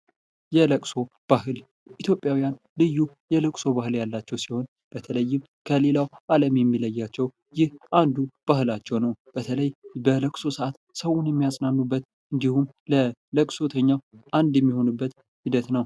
የለቅሶ ባህል ኢትዮጵያውያን ልዩ የለቅሶ ባህል ያላቸው ሲሆን ፣ በተለይም ከሌላው ዓለም የሚለያቸው ይህ አንዱ ባህላቸው ነው። በተለይ በለቅሶ ሰዓት ሰውን የሚያጽናኑበት እንዲሁም፤ ለለቅሶተኛው አንድ የሚሆኑበት ሂደት ነው።